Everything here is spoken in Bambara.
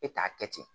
E t'a kɛ ten